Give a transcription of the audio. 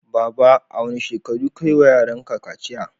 Baba, a wane shekaru kayi wa yaran ka kaciya?